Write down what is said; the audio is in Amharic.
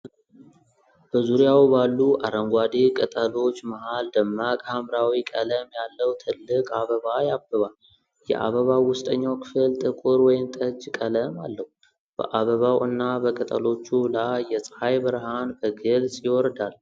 በዙሪያው ባሉ አረንጓዴ ቅጠሎች መሃል ደማቅ ሐምራዊ ቀለም ያለው ትልቅ አበባ ያብባል። የአበባው ውስጠኛው ክፍል ጥቁር ወይንጠጅ ቀለም አለው። በአበባው እና በቅጠሎቹ ላይ የፀሐይ ብርሃን በግልጽ ይወርዳል።